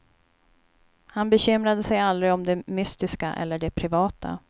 Han bekymrade sig aldrig om det mystiska eller det privata.